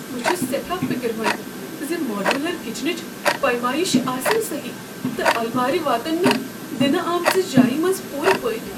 بہٕ چھس سٮ۪ٹھا فکرمنٛد ز ماڈیولر کچنٕچ پیمٲیش آسہِ نہٕ سہی، تہٕ المارِ واتن نہٕ دنہٕ آمژِ جایہ منٛز پوٗرٕ پٲٹھۍ۔